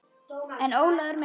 En Ólafur minn.